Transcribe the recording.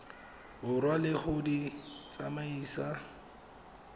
borwa le go di tsamaisa